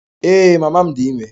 Ee, mama m dị ime